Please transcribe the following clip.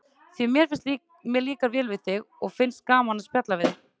Því mér líkar vel við þig og finnst gaman að spjalla við þig.